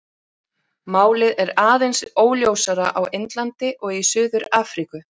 Málið er aðeins óljósara á Indlandi og í Suður-Afríku.